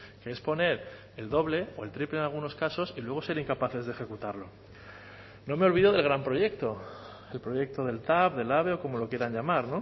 que es poner el doble o el triple en algunos casos y luego ser incapaces de ejecutarlo no me olvido del gran proyecto el proyecto del tav del ave o como lo quieran llamar